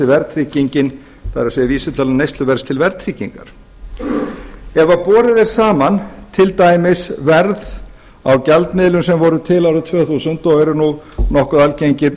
verðtryggingin það er vísitala neysluverðs til verðtryggingar ef borið er saman til dæmis verð á gjaldmiðlum sem voru til árið tvö þúsund og eru nú nokkuð algengir